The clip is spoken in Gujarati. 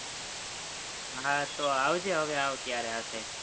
હા, તો આવજે હવે આવ ત્યારે આ side